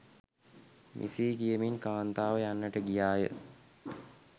මෙසේ කියමින් කාන්තාව යන්ට ගියා ය.